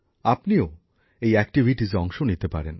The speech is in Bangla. আপনিও এই কর্মকাণ্ডে অংশও নিতে পারেন